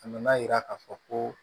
A nana yira k'a fɔ ko